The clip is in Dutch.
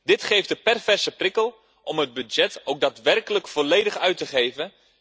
Dit geeft de perverse prikkel om het budget ook daadwerkelijk volledig uit te geven.